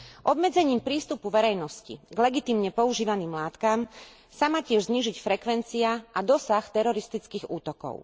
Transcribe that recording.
Obmedzením prístupu verejnosti k legitímne používaným látkam sa má tiež znížiť frekvencia a dosah teroristických útokov.